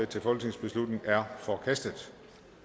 til folketingsbeslutning er forkastet